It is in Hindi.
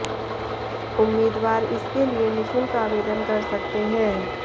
उम्मीदवार इसके लिए निशुल्क आवेदन कर सकते हैं